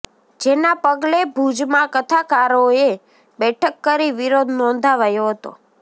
જેના પગલે ભુજમા કથાકારોએ બેઠક કરી વિરોધ નોંધાવ્યો હતો